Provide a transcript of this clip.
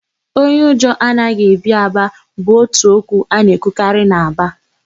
Onye ụjọ anaghị ebi Aba' bụ ótù okwu a na-ekwukarị n'Aba.